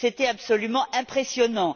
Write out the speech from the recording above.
C'était absolument impressionnant.